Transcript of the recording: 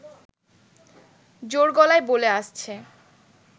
জোর গলায় বলে আসছে